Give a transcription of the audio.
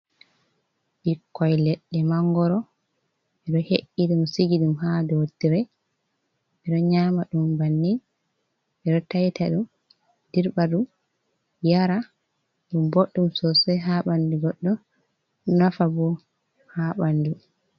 Ɓikkoy ledde mangoro ɓe ɗo he’i ɗum sigi ɗum haa dow tire ɓe ɗo nyama dum banni. Ɓe ɗo tayta ɗum dirɓa ɗum yara. Ɗum booɗɗum sosai haa ɓanndu goɗɗo, nafa boo haa ɓanndu.